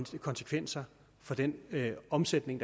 får konsekvenser for den omsætning